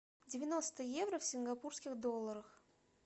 девяносто евро в сингапурских долларах